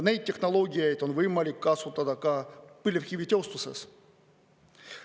Neid tehnoloogiaid on võimalik kasutada ka põlevkivitööstuses.